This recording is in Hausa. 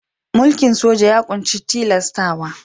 Mulkin soja ya ƙunshi tilastawa.